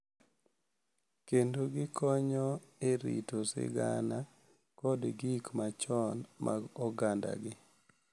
kendo gikonyo e rito sigana kod gik machon mag ogandagi.